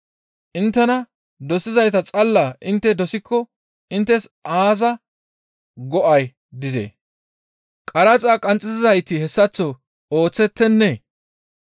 Inttena dosizayta xalla intte dosikko inttes aaza go7ay dizee? Qaraxa qanxxisizayti hessaththo ooththettennee?